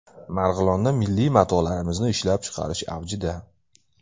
Marg‘ilonda milliy matolarimizni ishlab chiqarish avjida.